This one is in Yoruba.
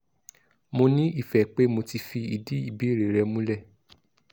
mo ní ìfẹ̀ pe mo ti fìdí ìbéèrè rẹ̀ múlẹ̀